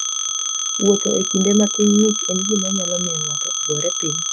Wuotho e kinde ma piny ng'ich en gima nyalo miyo ng'ato ogore piny.